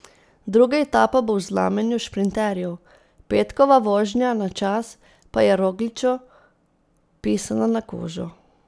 Druga etapa bo v znamenju šprinterjev, petkova vožnja na čas pa je Rogliču pisana na kožo.